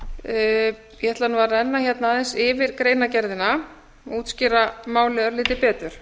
ætla nú að renna hérna aðeins yfir greinargerðina og útskýra málið örlítið betur